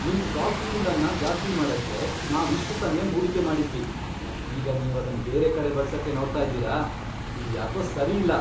ನಿಮ್ soft skill ಅನ್ನ ಜಾಸ್ತಿ ಮಾಡಕ್ಕೆ ನಾವ್ ಇಷ್ಟ್ ಸಮ್ಯನ್ ಹೂಡಿಕೆ ಮಾಡಿದ್ವಿ. ಮತ್ ಈಗ ನೀವ್ ಅದನ್ ಬೇರೆ ಕಡೆ ಬಳ್ಸಕ್ಕೆ ನೋಡ್ತಾ ಇದ್ದೀರಾ ? ಇದ್ ಯಾಕೋ ಸರಿ ಇಲ್ಲ.